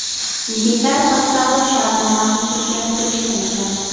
Yigitlar bir savdo shartnomasini tuzgani kelishgan ekan.